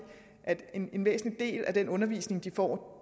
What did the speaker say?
en væsentlig del af den undervisning de får